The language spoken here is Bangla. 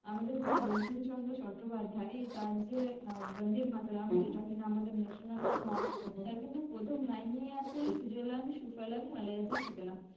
আমাদের যে বঙ্কিমচন্দ্র চট্টোপাধ্যায় তার যে আহ বন্দেমাতরম কিনা আমাদের national song তার কিন্তু প্রথম line এই আছে সুজলাং সুফলং মালায়জ শিতলাম।